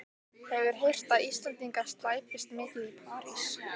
Hefur heyrt að Íslendingar slæpist mikið í París.